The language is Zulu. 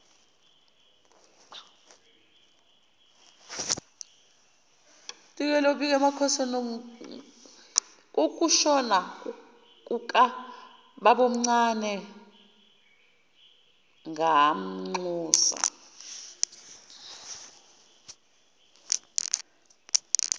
kokushona kukababomncane ngamnxusa